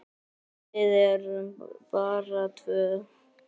Við erum bara tvö.